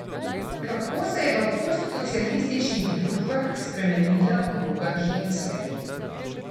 Kako se je v postsocialističnih družbah spremenila vloga ženske?